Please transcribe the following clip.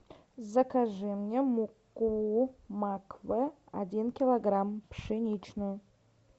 закажи мне муку макфа один килограмм пшеничную